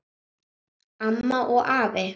Amma og afi.